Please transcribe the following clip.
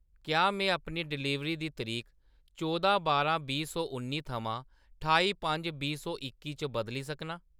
क्या में अपनी डलीवरी दी तरीक चौदां बारां बीह् सौ उन्नी थमां ठाई पंज बीह् सौ इक्की च बदली सकनां ?